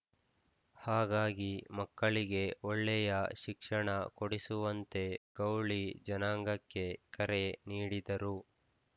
ಹಾಗಾಗಿ ಮಕ್ಕಳಿಗೆ ಒಳ್ಳೆಯ ಶಿಕ್ಷಣ ಕೊಡಿಸುವಂತೆ ಗೌಳಿ ಜನಾಂಗಕ್ಕೆ ಕರೆ ನೀಡಿದರು